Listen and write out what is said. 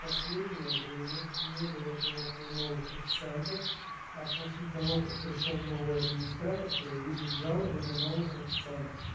последнее время не было жалоб на новых официантов а после того как пришёл новый администратор появились жалобы на новых официантов